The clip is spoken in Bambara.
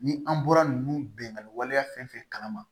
Ni an bɔra ninnu benganni waleya fɛn fɛn kalama